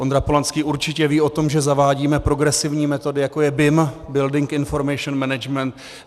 Ondra Polanský určitě ví o tom, že zavádíme progresivní metody, jako je BIM - Building Information Management.